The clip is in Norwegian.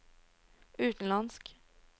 utenlandsk